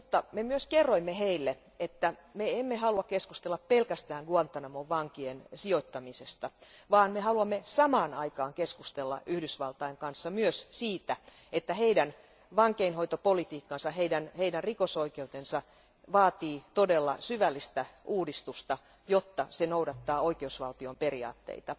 Me kerroimme heille myös, että emme halua keskustella pelkästään Guantánamon vankien sijoittamisesta, vaan me haluamme samaan aikaan keskustella Yhdysvaltain kanssa myös siitä, että heidän vankeinhoitopolitiikkansa, heidän rikosoikeutensa, vaatii todella syvällistä uudistusta, jotta se noudattaisi oikeusvaltion periaatteita.